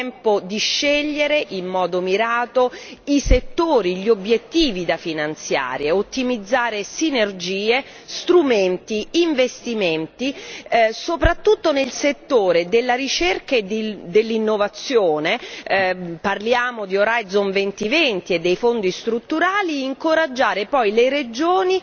È tempo di scegliere in modo mirato i settori e gli obiettivi da finanziare, ottimizzare sinergie, strumenti, investimenti, soprattutto nel settore della ricerca e dell'innovazione parliamo di Orizzonte 2020 e dei Fondi strutturali e incoraggiare poi le regioni